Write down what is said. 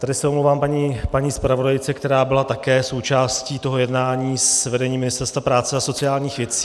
Tady se omlouvám paní zpravodajce, která byla také součástí toho jednání s vedením Ministerstva práce a sociálních věcí.